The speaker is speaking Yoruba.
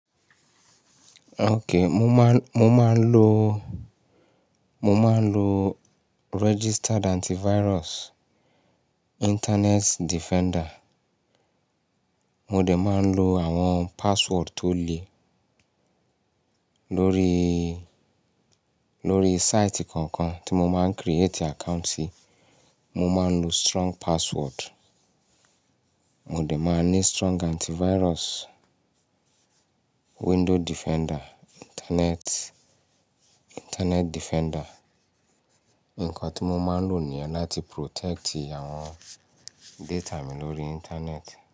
Okay, mo máa, mo máa ń lo, mo máa ń lo registered antivirus, Internet Defender. Mo dẹ̀ máa ń lo àwọn password tó le lórí, lórí site kọ̀ọ̀kan tí mo máa ń create account sí, mo máa ń lo strong password. Mo dẹ̀ máa ní strong antivirus, Window Defender, Internet, Internet Defender. Nǹkan tí mo máa ń lò ní yen láti protect àwọn data mi lórí Internet.